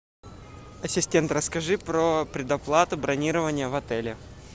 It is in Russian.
ассистент расскажи про предоплату бронирования в отеле